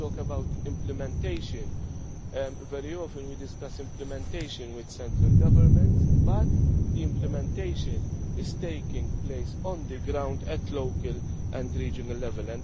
level. When we talk about implementation, very often we discuss implementation with central government but the implementation is taking place on the ground at local and regional